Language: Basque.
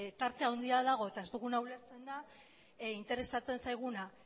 tarte handia dago eta ez duguna ulertzen da interesatzen zaiguna